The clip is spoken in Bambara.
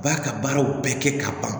U b'a ka baaraw bɛɛ kɛ ka ban